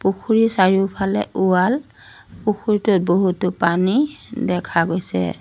পুখুৰীৰ চাৰিওফালে ৱাল পুখুৰীটোত বহুতো পানী দেখা গৈছে।